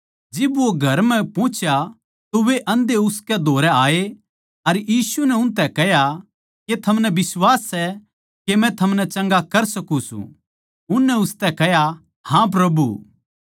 जिब वो घर म्ह पुह्चा तो वे आंधे उसके धोरै आये अर यीशु नै उनतै कह्या के थमनै बिश्वास सै के मै थमनै चंगा कर सकू सूं उननै उसतै कह्या हाँ प्रभु